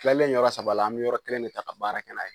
Tilal en yɔrɔ saba la an bɛ yɔrɔ kelen de ta ka baara kɛ n'a ye